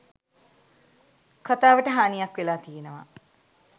කතාවට හානියක් වෙලා තියෙනවා